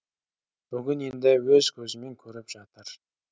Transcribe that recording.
бүгін енді өз көзімен көріп жатыр